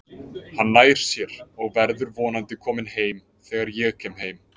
Hann nær sér og verður vonandi kominn heim þegar ég kem heim